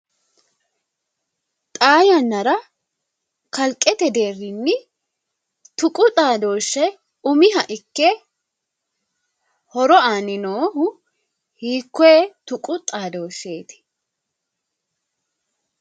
Xaa yannara kalqete deerinni tuqu xaadoshe umiha ikke horo aani noohu hiikkoe xuqu xaadosheti ?